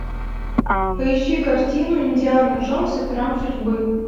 поищи картину индиана джонс и храм судьбы